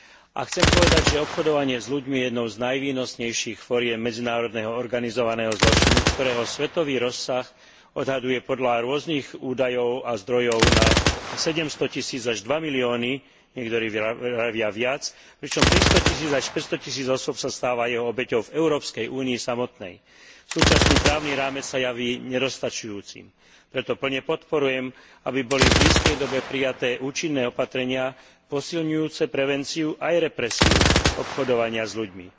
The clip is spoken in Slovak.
A chcem povedať, že obchodovanie s ľuďmi je jednou z najvýnosnejších foriem medzinárodného organizovaného zločinu, ktorého svetový rozsah sa odhaduje podľa rôznych údajov a zdrojov nad 700 tisíc až 2 milióny, niektorí vravia viac, pričom 300 tisíc až 500 tisíc osôb sa stáva jeho obeťou v Európskej únii samotnej. Súčasný právny rámec sa javí nedostačujúci, preto plne podporujem, aby boli v blízkej dobe prijaté účinné opatrenia posilňujúce prevenciu aj represiu obchodovania s ľuďmi.